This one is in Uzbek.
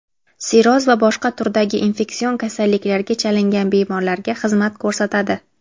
sirroz va boshqa turdagi infeksion kasalliklarga chalingan bemorlarga xizmat ko‘rsatadi.